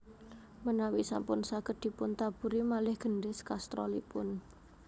Menawi sampun saged dipun taburi malih gendhis kastrolipun